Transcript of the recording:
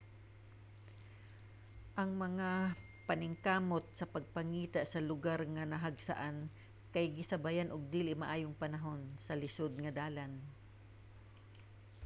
ang mga paningkamot sa pagpangita sa lugar nga nahagsaan kay gisabayan og dili maayong panahon ug lisod nga dalan